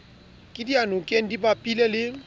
ke diyanokeng di bapile le